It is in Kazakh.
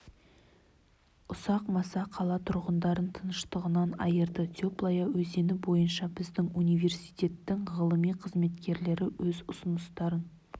ұсақ маса қала тұрғындарын тыныштығынан айырды теплая өзені бойынша біздің университеттің ғылыми қызметкерлері өз ұсыныстарын